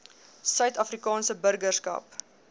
suid afrikaanse burgerskap